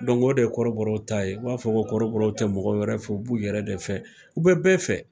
o de ye kɔrɔbɔrɔw ta ye. U b'a fɔ ko kɔrɔbɔrɔw tɛ mɔgɔ wɛrɛ fɛ u b'u yɛrɛ de fɛ. U bɛ bɛɛ fɛ.